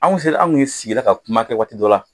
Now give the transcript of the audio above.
Anw sera anw kun ye sigira ka kuma kɛ waati dɔ la